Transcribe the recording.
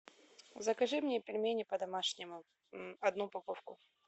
закажи мне пельмени по домашнему одну упаковку